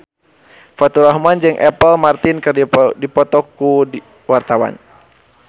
Faturrahman jeung Apple Martin keur dipoto ku wartawan